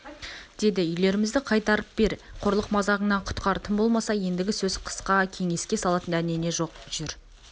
деді үйлерімізді қайтартып бер қорлық-мазағынан құтқар тым болмаса ендігі сөз қысқа кеңеске салатын дәнеңе жоқ жүр